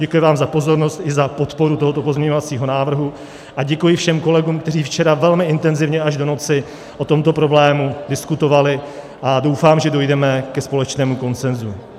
Děkuji vám za pozornost i za podporu tohoto pozměňovacího návrhu a děkuji všem kolegům, kteří včera velmi intenzivně až do noci o tomto problému diskutovali, a doufám, že dojdeme ke společnému konsenzu.